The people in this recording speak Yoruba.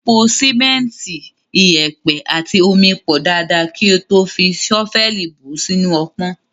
Po sìmẹ́ntì, iyẹ̀pẹ̀ àti omi pọ̀ dáadáa kí o tó fi ṣọ́fẹ́ẹ̀lì bù ú sínú ọpọ́n.